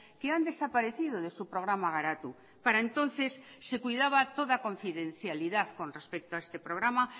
que han desaparecido de su programa garatu para entonces se cuidaba toda confidencialidad con respecto a este programa